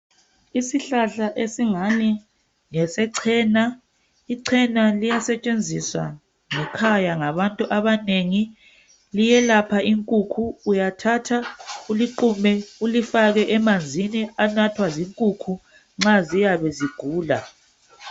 Isihlahla esingani ngesechena. Ichena liyasetshenziswa ngekhaya ngabantu abanengi .Liyelapha inkukhu .Uyathatha uliqume ulifake emanzini anathwa zinkukhu nxa ziyabe zigula